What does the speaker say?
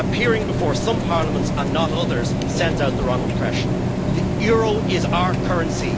Appearing before some parliaments and not others sends out the wrong impression. The euro is our currency.